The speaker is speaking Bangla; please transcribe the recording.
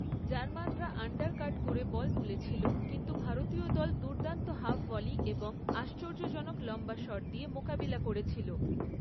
জার্মানরা আন্ডারকাট করে বল তুলেছিল, কিন্তু ভারতীয় দল দুর্দান্ত হাফ ভলি এবং আশ্চর্যজনক লম্বা শট দিয়ে মোকাবিলা করেছিল।